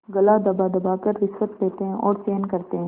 गला दबादबा कर रिश्वतें लेते हैं और चैन करते हैं